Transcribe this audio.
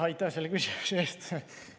Aitäh selle küsimuse eest!